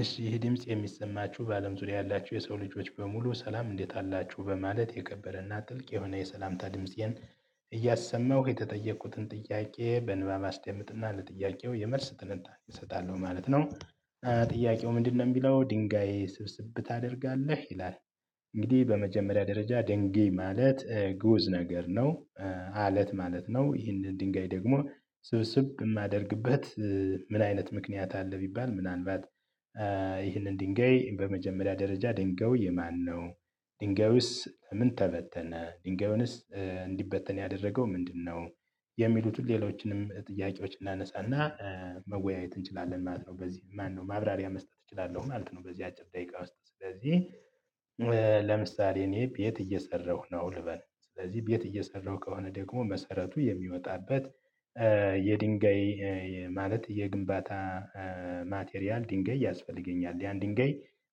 እሺ ይህ ድምጽ የሚሰማችሁ በአለም ዙሪያ ያላችሁ የሰው ልጆች በሙሉ ሰላም እንዴት አላችሁ በማለት የከበረና ጥልቅ የሆነ የሰላምታ ድምፄን እያሰማው የተጠየኩትን ጥያቄ በንባብ አስደምጥና ለጥያቄው የመልስ ትንታኔ እሰጣለሁ ማለት ነው። ጥያቄው ምንድነው የሚለው ድንጋይ ስብስብ ታደርጋለህ ይላል? እንግዲህ በመጀመሪያ ደረጃ ድንግይ ማለት ጉዝ ነገር ነው። አለት ማለት ነው ይህንን ድንጋይ ደግሞ ስብስብ የማደርግበት። ምን አይነት ምክንያት አለ? ቢባል ምናልባት ይህንን ድንጋይ በመጀመሪያ ደረጃ ድንጋው የማነው? ድንጋዩስ ለምን ተበተነ ድንጋዩንስ እንዲበተን ያደረገው ምንድነው? የሚሉትን ሌሎችንም ጥያቄዎች እናነሳና መወያየት እንችላለን ማለት ነው። በዚህ ማነው ማብራሪያ መስጠት እችላለሁ ማለት ነው። በዚህ አጭር ደቂቃ ውስጥ ስለዚህ ለምሳሌ እኔ ቤት እየሰራሁ ነው። ልበል ስለዚህ ቤት እየሰራሁ ከሆነ ደግሞ መሰረቱ የሚወጣበት የድንጋይ ማለት የግንባታ ማቴሪያል ድንጋይ ያስፈልገኛል። ያን ድንጋይ